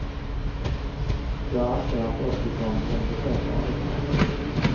Jag anser att optikern borde besöka arbetsplatsen.